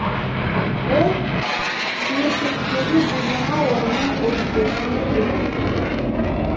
ол кнессеттегі жүз жиырма орынның отыз бесіне ие болды